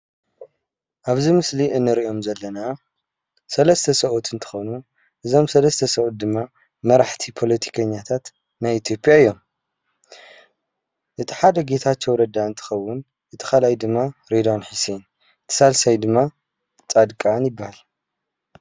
ኣብዚ ምስሊ እንሪኦም ዘለና ሰለስተ ሰብኡት እንትኾኑ ዞም ሰለስተ ሰብኡት ድማ መራሕቲ ፓለቲከኛታት ናይ ኢትዮጲያ እዮም እቲ ሓደ ጌታቸው ረዳ እንትኸውን እቲ ካልኣይ ድማ ሬድዋን ሓሴን ሳልሳይ ድማ ፃድቃን ይበሃል ።